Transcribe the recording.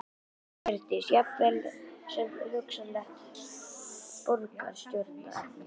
Hjördís: Jafnvel sem hugsanlegt borgarstjóraefni?